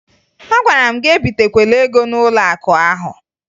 Agwara m gị ebitekwala ego n'ụlọakụ ahụ!